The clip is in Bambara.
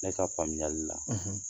Ne ka faamuyali la